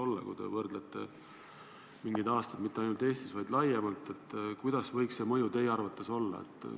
Kui te võrdlete mingeid aastaid mitte ainult Eestis, vaid laiemalt, siis milline võiks see mõju teie arvates olla?